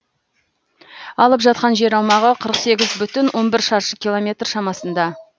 алып жатқан жер аумағы қырық сегіз бүтін он бір шаршы километр шамасында